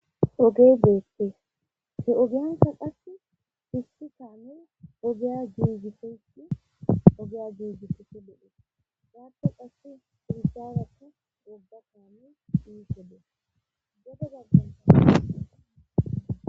ogee deette he7ogiyanka qasi hissi kaamen ogeya giigiseti ogeya giigisosi bodhete gaaten qassi firizaarakka gobba kaamen inssode godo gagan lelete